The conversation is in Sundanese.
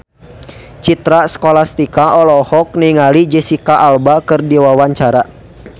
Citra Scholastika olohok ningali Jesicca Alba keur diwawancara